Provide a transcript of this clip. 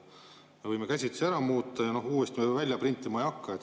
Me võime käsitsi ära muuta ja uuesti välja printima ei hakka.